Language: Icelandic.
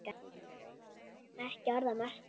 Ekki orð að marka.